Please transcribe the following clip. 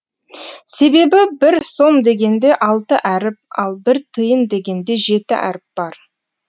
себебі бір сом дегенде алты әріп ал бір тиын дегенде жеті әріп бар